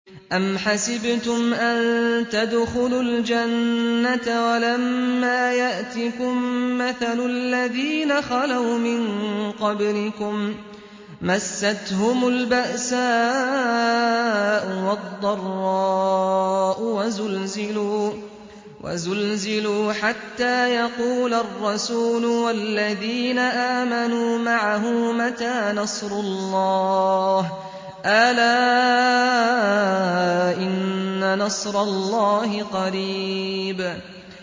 أَمْ حَسِبْتُمْ أَن تَدْخُلُوا الْجَنَّةَ وَلَمَّا يَأْتِكُم مَّثَلُ الَّذِينَ خَلَوْا مِن قَبْلِكُم ۖ مَّسَّتْهُمُ الْبَأْسَاءُ وَالضَّرَّاءُ وَزُلْزِلُوا حَتَّىٰ يَقُولَ الرَّسُولُ وَالَّذِينَ آمَنُوا مَعَهُ مَتَىٰ نَصْرُ اللَّهِ ۗ أَلَا إِنَّ نَصْرَ اللَّهِ قَرِيبٌ